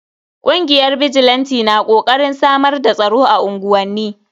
Kungiyar bijilanti na kokarin samar da tsaro a unguwanni.